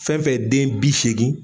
Fɛnfɛn ye den bi seegin.